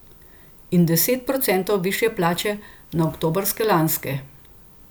In deset procentov višje plače na oktobrske lanske.